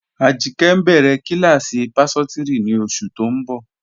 Ajìnkẹ́ ǹ béré kílásí páṣọtírí ní oṣù tó ǹ bọ.